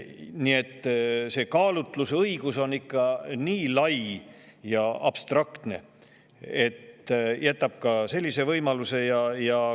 Nii et see kaalutlusõigus on ikka nii lai ja abstraktne, et jätab ka sellise võimaluse.